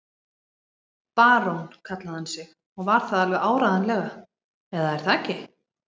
Barón kallaði hann sig og var það alveg áreiðanlega, eða er það ekki?